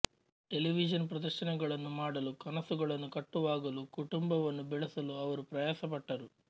television ಪ್ರದರ್ಶನಗಳನ್ನು ಮಾಡಲು ಕನಸುಗಳನ್ನು ಕಟ್ಟುವಾಗಲು ಕುಟುಂಬವನ್ನು ಬೆಳೆಸಲು ಅವರು ಪ್ರಯಾಸಪಟ್ಟರು